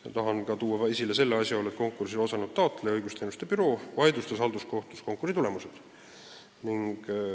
Ma tahan esile tuua ka asjaolu, et konkursil osalenud taotleja Õigusteenuste Büroo vaidlustas halduskohtus konkursi tulemused.